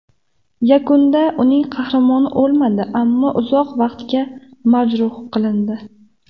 Yakunda uning qahramoni o‘lmadi, ammo uzoq vaqtga majruh qilindi.